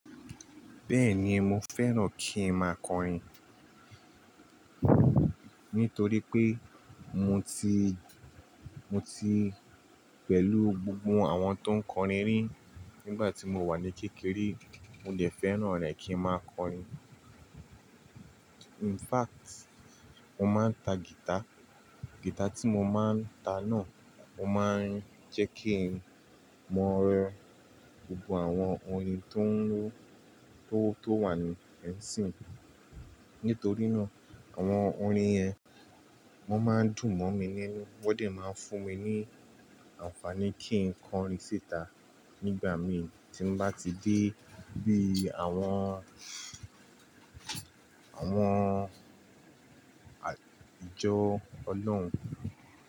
Bẹ́ẹ̀ni, mo fẹ́ràn kí n máa kọrin nítorí pé mo ti, mo ti pẹ̀lú gbogbo àwọn tó ń kọrin rí nígbà tí mo wà ní kékeré. Mo dè fẹ́ràn rẹ̀ kí n máa kọrin. In fact, mo máa ń ta guitar. Guitar tí mo máa ń ta náà, o máa ń jẹ́ kí n mọ̀ -gbogbo àwọn orin tó ń lọ, tó wà ní lẹ́yìn síi Nítorí náà, àwọn orin yẹn, wọ́n máa ń dùn mọ́ mi ninu, wọ́n de máa ń fún mi ní àǹfààní kí n kọrin síta nígbàmí tí n bá ti dé bí i àwọn, àwọn àjọ ọlọ́run.